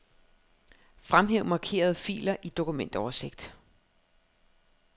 Fremhæv markerede filer i dokumentoversigt.